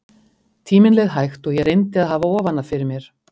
Tíminn leið hægt og ég reyndi að hafa ofan af fyrir mér.